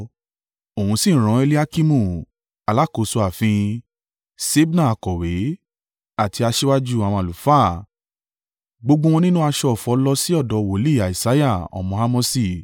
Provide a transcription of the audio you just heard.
Òun sì rán Eliakimu alákòóso ààfin, Ṣebna akọ̀wé, àti aṣíwájú àwọn àlùfáà, gbogbo wọn nínú aṣọ ọ̀fọ̀ lọ sí ọ̀dọ̀ wòlíì Isaiah ọmọ Amosi.